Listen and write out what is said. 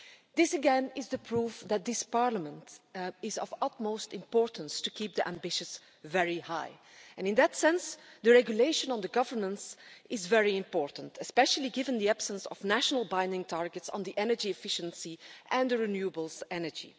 This again is proof that this Parliament is of utmost importance to keep ambitions very high, and in that sense the regulation on governance is very important, especially given the absence of national binding targets on energy efficiency and renewable energy.